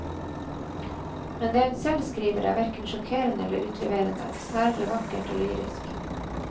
Men det hun selv skriver, er verken sjokkerende eller utleverende, snarere vakkert og lyrisk.